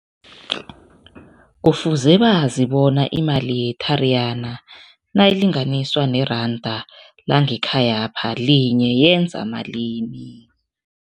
Kufuze bazi bona imali ye-Tariyana nayilinganiswa neranda langekhayapha, linye yenza malini.